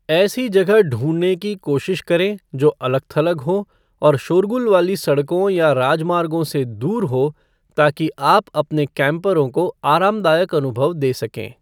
ऐसी जगह ढूंढने की कोशिश करें जो अलग थलग हो और शोरगुल वाली सड़कों या राजमार्गों से दूर हो ताकि आप अपने कैम्परों को आरामदायक अनुभव दे सकें।